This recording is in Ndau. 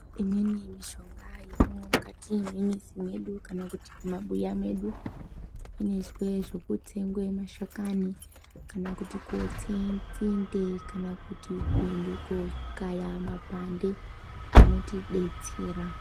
Imweni mishonga yatinomwa mukati mwemizi mwedu, kana kuti mumabuya mwedu. Inoizwe zvekutsenge mashakani, kana kuti kotse nzinde, kana kuti koende kokaya mapande anotibetsera.